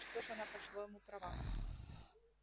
что ж она по-своему права